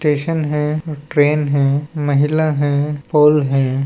Station है train है महिला है पोल है।